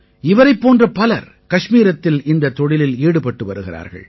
இவரைப் போன்ற பலர் கஷ்மீரத்தில் இந்தத் தொழிலில் ஈடுபட்டு வருகிறார்கள்